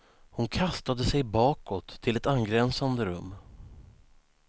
Hon kastade sig bakåt, till ett angränsande rum.